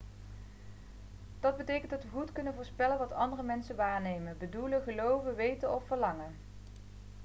dat betekent dat we goed kunnen voorspellen wat andere mensen waarnemen bedoelen geloven weten of verlangen